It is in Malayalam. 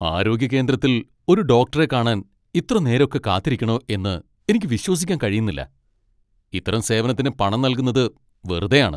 ആരോഗ്യ കേന്ദ്രത്തിൽ ഒരു ഡോക്ടറെ കാണാൻ ഇത്ര നേരൊക്കെ കാത്തിരിക്കണോ എന്ന് എനിക്ക് വിശ്വസിക്കാൻ കഴിയുന്നില്ല! ഇത്തരം സേവനത്തിന് പണം നൽകുന്നത് വെറുതെയാണ്.